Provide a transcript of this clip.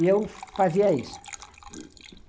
E eu fazia isso.